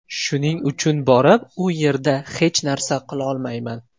Shuning uchun borib u yerda hech narsa qilolmayman.